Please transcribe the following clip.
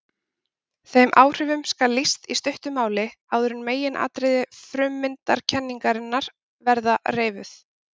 Þeim áhrifum skal lýst í stuttu máli áður en meginatriði frummyndakenningarinnar verða reifuð.